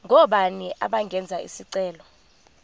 ngobani abangenza isicelo